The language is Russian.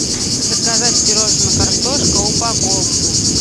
заказать пирожное картошка упаковку